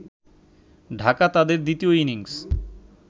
ঢাকা তাদের দ্বিতীয় ইনিংস